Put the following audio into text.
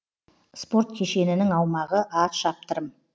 спорт кешенінің аумағы атшаптырым